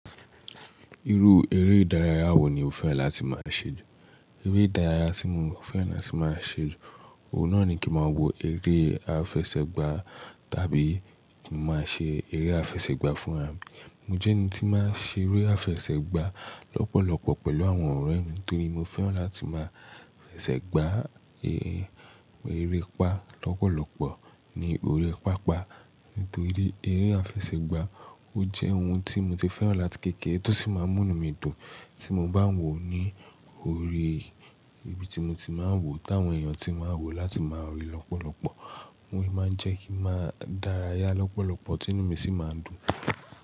Irú eré-ìdárayá wo ni o fẹ́ràn láti máa ń ṣe? Eré ìdárayá tí mo fẹ́ràn láti máa ṣẹlù, òun náà ni kí máa wo eré àfẹsẹ̀gbá tàbí kí máa ṣe eré àfẹsẹ̀gbá fún àbí. Mo jẹ́ ẹni tí máa ń ṣe eré àfẹsẹ̀gbá lọ́pọ̀lọpọ̀ pẹ̀lú àwọn ọ̀rẹ́ mi nítorí mo fẹ́ràn láti máa fẹsẹ̀ gbá eré, eré pa lọ́pọ̀lọpọ̀ ní ori pápá. Nítorí eré àfẹsẹ̀gbá ó jẹ́ ohun tí mo ti fẹ́ràn láti kéékèé tó sì máa ń múni mi dùn tí mo bá wò ó ní orí ibi tí mo ti máa ń wò ó táwọn èèyàn tí máa ń wò ó láti máa ríi lọ́pọ̀lọpọ̀. Óun ni máa ń jẹ́ kí ń máa dárayá lọ́pọ̀lọpọ̀ tí inú mi sì máa dùn.